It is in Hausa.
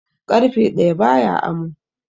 Ƙarfe ɗaya ba ya amo.